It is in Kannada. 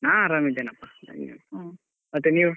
ಹಾ ಆರಾಮಿದ್ದೇನಪ್ಪ ನಂಗೇನು ಮತ್ತೇ ನೀವ್?